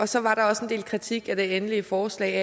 så var der også en del kritik af det endelige forslag